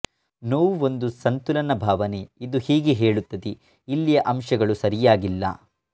ನೋವು ಒಂದು ಸಂತುಲನ ಭಾವನೆ ಇದು ಹೀಗೆ ಹೇಳುತ್ತದೆ ಇಲ್ಲಿಯ ಅಂಶಗಳು ಸರಿಯಾಗಿಲ್ಲ